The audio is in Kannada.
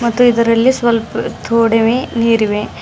ಮತ್ತು ಇದರಲ್ಲಿ ಸ್ವಲ್ಪ ತೋಡವೇ ನೀರಿವೆ.